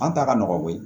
An ta ka nɔgɔn bi